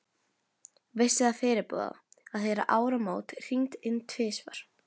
Vissi það fyrirboða, að heyra áramót hringd inn tvisvar.